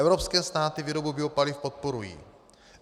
Evropské státy výrobu biopaliv podporují.